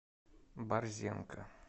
борзенко